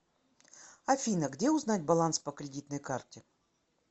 афина где узнать баланс по кредитной карте